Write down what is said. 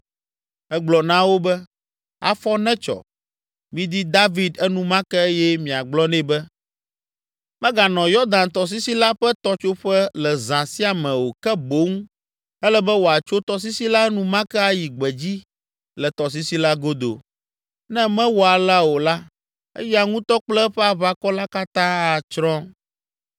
Egblɔ na wo be, “Afɔ netsɔ! Midi David enumake eye miagblɔ nɛ be, meganɔ Yɔdan tɔsisi la ƒe tɔtsoƒe le zã sia me o ke boŋ ele be wòatso tɔsisi la enumake ayi gbedzi le tɔsisi la godo. Ne mewɔ alea o la, eya ŋutɔ kple eƒe aʋakɔ la katã atsrɔ̃.”